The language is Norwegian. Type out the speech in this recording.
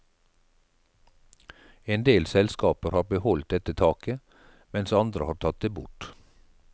En del selskaper har beholdt dette taket, mens andre har tatt det bort.